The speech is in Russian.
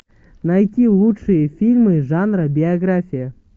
найти лучшие фильмы жанра биография